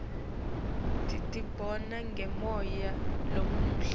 titibona ngemoya lomuhle